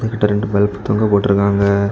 இதுல ரெண்டு பல்பு தொங்க போட்ருக்காங்க.